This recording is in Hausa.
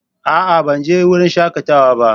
A'a! Ban je wurin shakatawa ba.